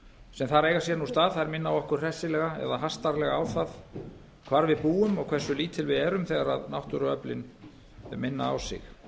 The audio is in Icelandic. sem þar eiga sér nú stað minna okkur hressilega eða hastarlega á hvar við búum og áherslu lítil við erum þegar náttúruöflin minna á sig